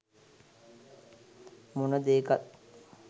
මොන දේකත්